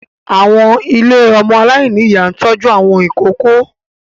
Àwọn ilé ọmọ aláìní ìyá ń tọ́jú àwọn ìkóókó